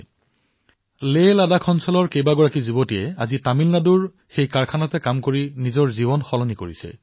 পাৰবীন ফাতিমাৰ দৰেই হিমায়ৎ কাৰ্যসূচীয়ে লেহলাডাখ নিবাসী অন্য কন্যা সন্তানসকলৰো ভাগ্য পৰিৱৰ্তন কৰিছে আৰু আজি সকলোৱে তামিলনাডুৰ সেই উদ্যোগত কাম কৰি আছে